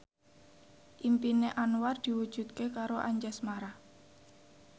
impine Anwar diwujudke karo Anjasmara